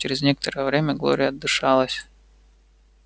через некоторое время глория отдышалась